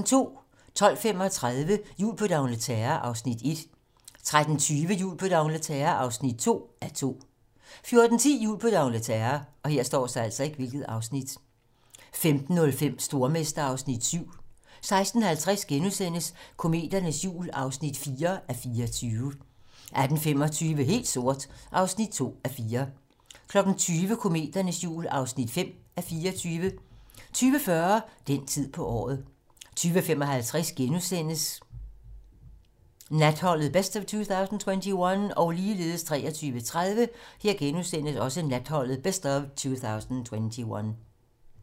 12:35: Jul på d'Angleterre (1:2) 13:20: Jul på d'Angleterre (2:2) 14:10: Jul på d'Angleterre 15:05: Stormester (Afs. 7) 16:50: Kometernes jul (4:24)* 18:25: Helt sort (2:4) 20:00: Kometernes jul (5:24) 20:40: Den tid på året 22:55: Natholdet - best of 2021 * 23:30: Natholdet - best of 2021 *